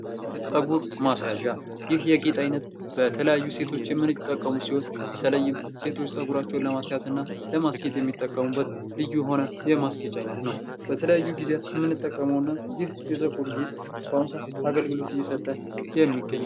ፀጉር ማስያዣ ይህ የጌጥ ዓይነት በተለያዩ ሴቶች የሚጠቀሙ ሲሆን በተለይም ሴቶች ጸጉራቸውን ለማስያዝና ለማስጥ የሚጠቀሙበት ልዩ የሆነ የማስጌጫ አይነት ነው በተለያዩ ጊዜያት የምንጠቀመውና ይህ የፀጉር ጌት በአሁኑ ሰዓት አገልግሎት እየሰጠ የሚገኝ ነው ::